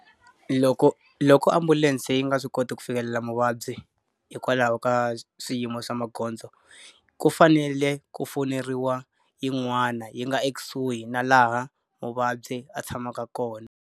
Loko loko ambulense yi nga swi koti ku fikelela muvabyi hikwalaho ka swiyimo swa magondzo, ku fanele ku fowuneriwa yin'wana yi nga ekusuhi na laha muvabyi a tshamaka kona.